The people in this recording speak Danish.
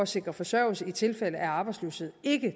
sikre forsørgelse i tilfælde af arbejdsløshed ikke